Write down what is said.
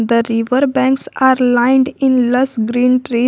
the river banks are lined in less green tree.